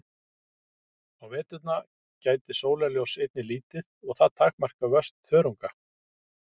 Á veturna gætir sólarljóss einnig lítið og það takmarkar vöxt þörunga.